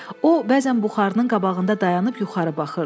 O bəzən buxarının qabağında dayanıb yuxarı baxırdı.